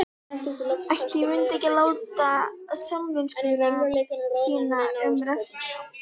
Ætli ég mundi ekki láta samvisku þína um refsinguna.